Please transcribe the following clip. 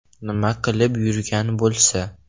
Nima qilib yurgan bo‘lsa?